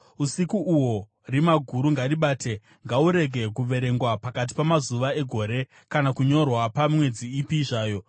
Usiku uhwo rima guru ngaribate; ngahurege kuverengwa pakati pamazuva egore kana kunyorwa pamwedzi ipi zvayo.